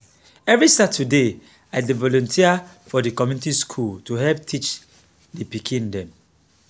every saturday i dey volunteer for di community school to help teach di pikin dem.